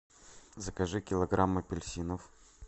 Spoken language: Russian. закажи килограмм апельсинов